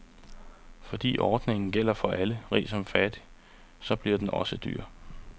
Fordi ordningen gælder for alle, rig som fattig, så bliver den også dyr.